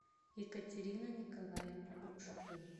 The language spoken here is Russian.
екатерина николаевна грушко